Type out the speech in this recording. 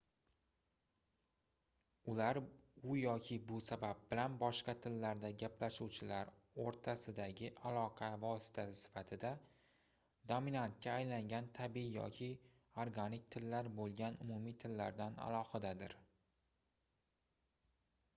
ular u yoki bu sabab bilan boshqa tillarda gaplashuvchilar oʻrtasidagi aloqa vositasi sifatida dominantga aylangan tabiiy yoki organik tillar boʻlgan umumiy tillardan alohidadir